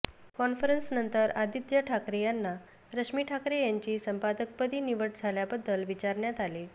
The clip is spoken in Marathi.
कॉन्फरन्सनंतर आदित्य ठाकरे यांना रश्मी ठाकरे यांची संपादकपदी निवड झाल्याबद्दल विचारण्यात आले